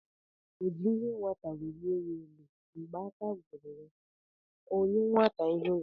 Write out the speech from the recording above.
O ji ihe nwata welie aka ya elu, Mgbe ike gwụrụ ya, ọ nye nwata ihe ya